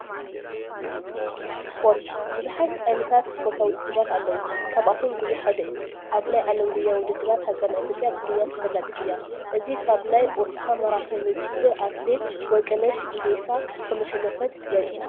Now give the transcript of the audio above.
ስፖርት፡- ብዙሓት ዓይነታት ስፖርታዊ ውድድራት ኣለው፡፡ ካብቶም ጉያ ሓደ እዩ፡፡ ኣብ ናይ ዓለም ጉያ ውድድራት ሃገርና ኢ/ያ ብጉያ ተፈላጢት እያ፡፡ እዚ ካብ ናይ ኦስካ ማራቶን ውድድር ኣትሌት ወርቅነሽ ኢዴሳ ከምዘሸነፈት የሪአና፡፡